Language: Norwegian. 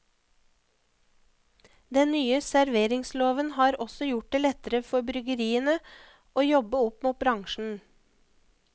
Den nye serveringsloven har også gjort det lettere for bryggeriene å jobbe opp mot bransjen.